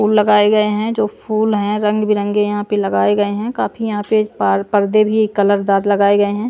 फूल लगाए गए हैं जो फूल हैं रंग बिरंगे यहां पे लगाए गए हैं काफी यहां पे पर्दे भी कलरदार लगाए गए हैं ।